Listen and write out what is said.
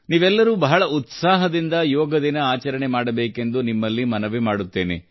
ನೀವೆಲ್ಲರೂ ಬಹಳ ಉತ್ಸಾಹದಿಂದ ಯೋಗ ದಿನ ಆಚರಣೆ ಮಾಡಬೇಕೆಂದು ನಿಮ್ಮಲ್ಲಿ ಮನವಿ ಮಾಡುತ್ತೇನೆ